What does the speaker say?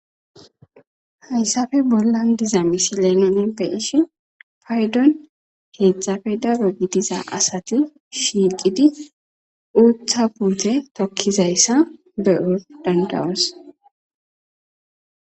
hayssafe bollan diza misi leemenen beishi paydon heedzdzafe daro gidiza asati shiiqidi uutha buute tokkizayssa be or dandawos